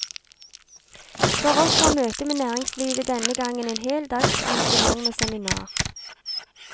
For oss var møtet med næringslivet denne gangen en hel dags arrangement med seminar.